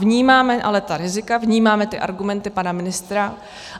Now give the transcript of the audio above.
Vnímáme ale ta rizika, vnímáme ty argumenty pana ministra.